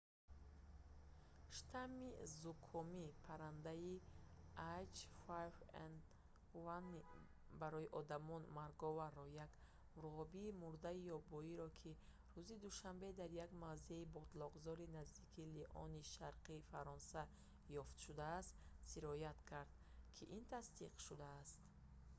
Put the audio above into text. штамми зукоми паррандаи h5n1-и барои одамон марговар як мурғобии мурдаи ёбоиро ки рӯзи душанбе дар як мавзеи ботлоқзори наздикии лиони шарқи фаронса ёфт шудааст сироят кард ки ин тасдиқ шудааст